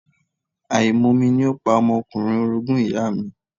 Àìmomi ni ó pa ọmọkùnrin orogún ìyàa mi.